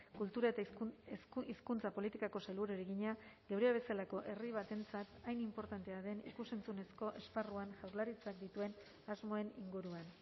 kultura eta hizkuntza politikako sailburuari egina geurea bezalako herri batentzat hain inportantea den ikus entzunezko esparruan jaurlaritzak dituen asmoen inguruan